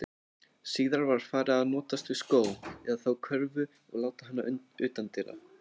Síðar var farið að notast við skó, eða þá körfu og láta hana utandyra.